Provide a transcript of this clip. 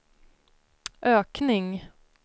ökning